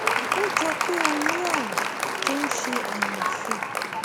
ó jọ pé ó ní ààrùn tó ń ṣe ọnà ọfun